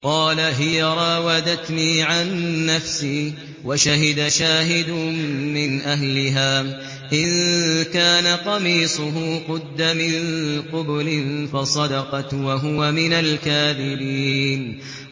قَالَ هِيَ رَاوَدَتْنِي عَن نَّفْسِي ۚ وَشَهِدَ شَاهِدٌ مِّنْ أَهْلِهَا إِن كَانَ قَمِيصُهُ قُدَّ مِن قُبُلٍ فَصَدَقَتْ وَهُوَ مِنَ الْكَاذِبِينَ